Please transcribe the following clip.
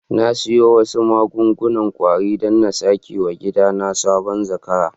Na siya wasu magun-gunan kwari dan n'sa keweyen gida na saboda zakarai.